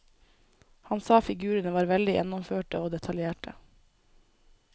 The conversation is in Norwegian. Han sa figurene var veldig gjennomførte og detaljerte.